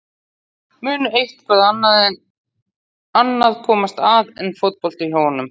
Mun eitthvað annað komast að en fótbolti hjá honum?